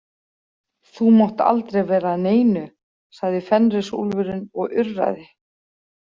Þú mátt aldrei vera að neinu, sagði Fenrisúlfurinn og urraði.